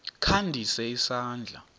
kha ndise isandla